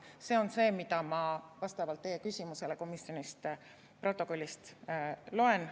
See on see, mida ma teie küsimuse peale komisjoni protokollist loen.